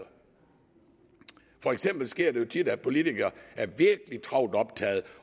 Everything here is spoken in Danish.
for eksempel sker det jo tit at politikere er virkelig travlt optaget